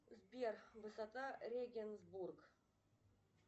сбер высота регенсбург